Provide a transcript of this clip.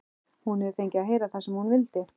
Hún hefur fengið að heyra það sem hún vildi.